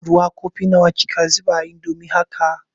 Ruwa kofi nawa kika zuba a indomin haka?